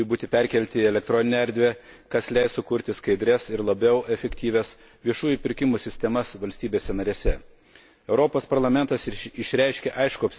Manau, kad ateityje visi viešieji pirkimai turi būti perkelti į elektroninę erdvę, kas leis sukurti skaidrias ir labiau efektyvias viešųjų pirkimų sistemas valstybėse narėse.